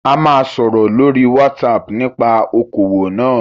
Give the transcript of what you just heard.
A ma sọ̀rọ̀ lórí WhatsApp nípa okòwò náà